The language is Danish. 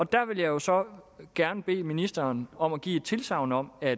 der vil jeg jo så gerne bede ministeren om at give et tilsagn om at